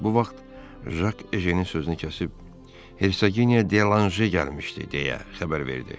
Bu vaxt Jak Ejennin sözünü kəsib Hersoginya Delaşe gəlmişdi deyə xəbər verdi.